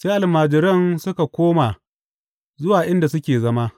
Sai almajiran suka koma zuwa inda suke zama.